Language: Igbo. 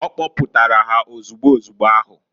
O kpoputara ha ozugbu ozugbo ahu.